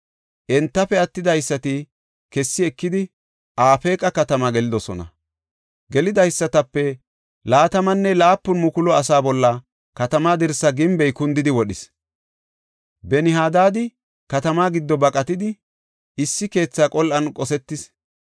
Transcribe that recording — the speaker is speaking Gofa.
Entafe attidaysati kessi ekidi, Afeeqa katamaa gelidosona. Gelidaysatape 27,000 asaa bolla katamaa dirsa gimbey kundidi wodhis. Ben-Hadaadi katamaa giddo baqatidi, issi keetha qol7an qosetis.